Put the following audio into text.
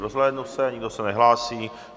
Rozhlédnu se, nikdo se nehlásí.